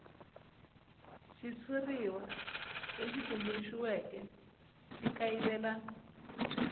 xitshuriwa lexi tumbuluxiweke xi kayivela